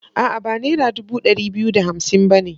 A'a, ba nera dubu ɗari biyu da hamsin ba ne.